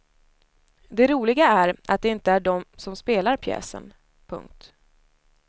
Det roliga är att det inte är de som spelar pjäsen. punkt